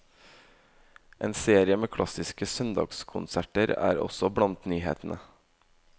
En serie med klassiske søndagskonserter er også blant nyhetene.